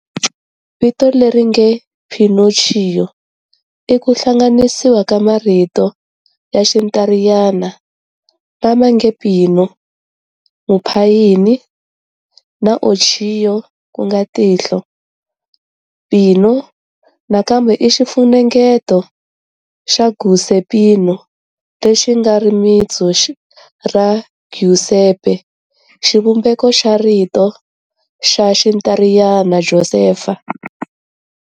Vito leri nge"Pinocchio" i ku hlanganisiwa ka marito ya Xintariyana"lama nge pino", muphayini, na"Occhio", tihlo,"Pino" nakambe i xifunengeto xa"Giuseppino" lexi nga rimitsu ra Giuseppe, xivumbeko xa rito ra Xintariyana Joseph